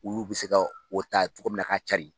Olu bɛ se ka o ta cogo min na ka carin.